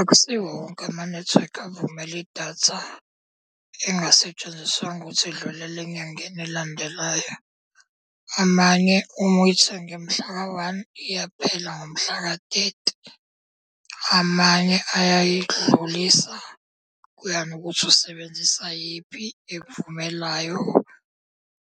Akusiwo wonke amanethiwekhi avumela idatha elingasetshenziswanga ukuthi idlulele enyangeni elandelayo. Amanye uma uyithenge mhlaka one iyaphela ngomhlaka thirty. Amanye ayayidlulisa, kuya ngokuthi usebenzisa yiphi ekuvumelayo.